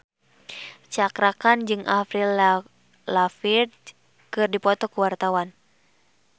Cakra Khan jeung Avril Lavigne keur dipoto ku wartawan